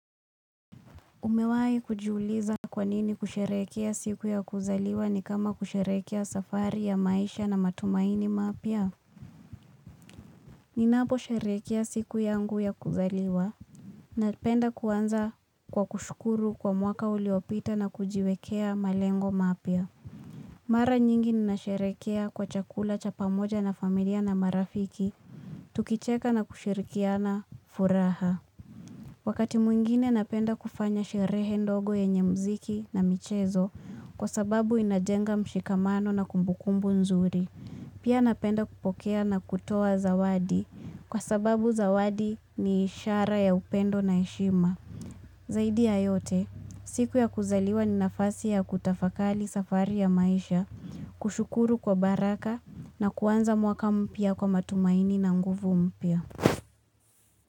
Umewai kujiuliza kwa nini kusherekea siku ya kuzaliwa ni kama kusherekea safari ya maisha na matumaini mapya? Ninapo sherekea siku yangu ya kuzaliwa. Napenda kuanza kwa kushukuru kwa mwaka uliopita na kujiwekea malengo mapya. Mara nyingi ninasherekea kwa chakula cha pamoja na familia na marafiki. Tukicheka na kushirikiana furaha. Wakati mwingine napenda kufanya sherehe ndogo yenye mziki na michezo kwa sababu inajenga mshikamano na kumbukumbu nzuri. Pia napenda kupokea na kutoa zawadi kwa sababu zawadi ni ishara ya upendo na heshima. Zaidi ya yote, siku ya kuzaliwa ni nafasi ya kutafakali safari ya maisha, kushukuru kwa baraka na kuanza mwaka mpya kwa matumaini na nguvu mpia.